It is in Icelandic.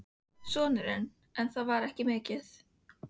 Sonurinn: En það var ekki mikið.